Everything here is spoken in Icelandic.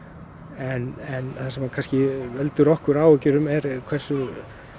en það sem veldur okkur áhyggjum er hversu